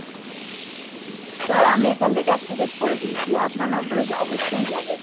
sir আমি এখান থেকে activate করে দিয়েছি, আপনার number এ অবশ্যই যাবে।